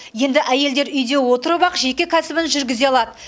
енді әйелдер үйде отырып ақ жеке кәсібін жүргізе алады